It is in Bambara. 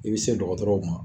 I be se dɔgɔtɔrɔw ma